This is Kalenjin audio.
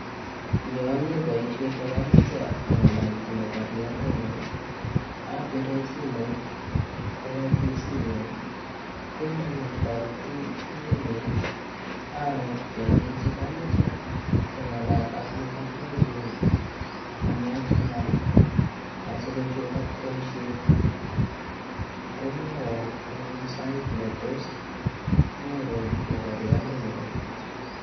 Yo ami boishet akamoche angalalji mokorondenyun apire simoit kowo ofisit nyi koi ndanam toretindenyi aarorchi alechi kamoche keng'alal ak mokorionyu amwoch ng'al asikochulak boishet komwoiwo anyun sait netos anyoru mokoriondenyu